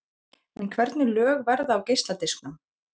En hvernig lög verða á geisladisknum?